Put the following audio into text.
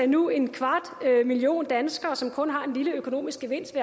nu er en kvart million danskere som kun har en lille økonomisk gevinst